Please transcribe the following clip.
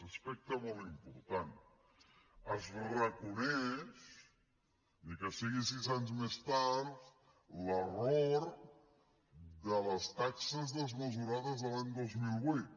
aspecte molt important es reconeix ni que sigui sis anys més tard l’error de les taxes desmesurades de l’any dos mil vuit